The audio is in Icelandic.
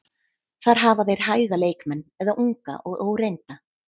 Þar hafa þeir hæga leikmenn eða unga og óreynda.